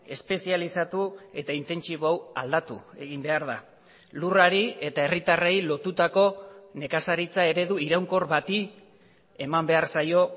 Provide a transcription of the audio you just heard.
espezializatu eta intentsibo hau aldatu egin behar da lurrari eta herritarrei lotutako nekazaritza eredu iraunkor bati eman behar zaio